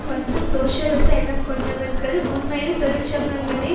மற்றும் சோசியலிச எண்ணம் கொண்டவர்கள் உண்மையில் தொழிற்சங்கங்களை